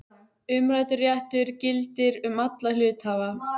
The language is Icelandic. Umræddur réttur gildir um alla hluthafa.